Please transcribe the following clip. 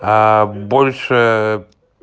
аа больше